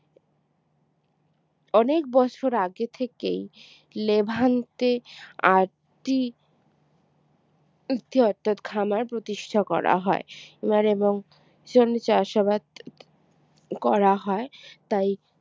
অনেক বছর আগে থেকেই লেভান্তে আদ্যি আদ্যি অর্থাৎ খামার প্রতিষ্ঠা করা হয় খামার এবং চাষাবাদ করা হয় তাই